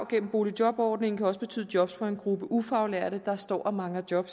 gennem boligjobordningen kan også betyde job for en gruppe ufaglærte der står og mangler job